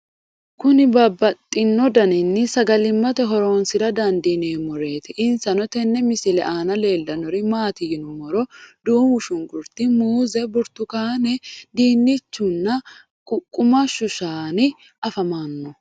Kuni babaxino danini sagalimate hooronsra dandineemoreeti insano tenne missile aana leelanori mati yiinumoro duumu shunkurti, muuze, buurtukaane dinnichunaa ququmashu shaanni afamano?